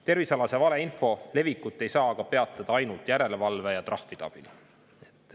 Tervisealase valeinfo levikut ei saa peatada ainult järelevalve ja trahvide abil.